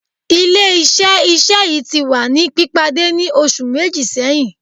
Ile Iṣẹ-iṣẹ yii ti wa ni pipade ni oṣu meji sẹhin